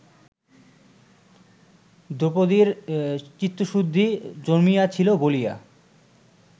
দ্রৌপদীর চিত্তশুদ্ধি জন্মিয়াছিল বলিয়া